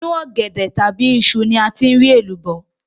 Inú ọ̀gẹ̀dẹ̀ tàbí iṣu ni a ti rí èlùbọ́